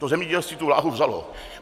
To zemědělství tu vláhu vzalo.